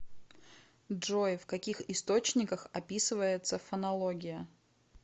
джой в каких источниках описывается фонология